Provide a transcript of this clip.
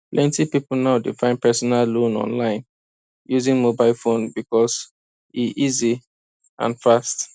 plenty people now dey find personal loan online using mobile phone because e e easy and fast